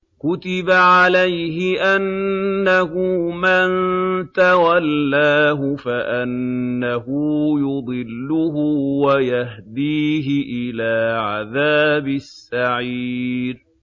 كُتِبَ عَلَيْهِ أَنَّهُ مَن تَوَلَّاهُ فَأَنَّهُ يُضِلُّهُ وَيَهْدِيهِ إِلَىٰ عَذَابِ السَّعِيرِ